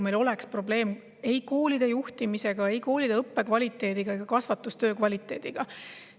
Meil ei ole probleemi ei koolide juhtimise, ei õppe kvaliteedi ega kasvatustöö kvaliteediga.